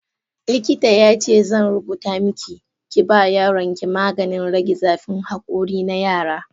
Likita ya ce zan rubuta maki, ki ba yaronki maganin rage zafin hakori na yara.